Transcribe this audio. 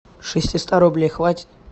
шести ста рублей хватит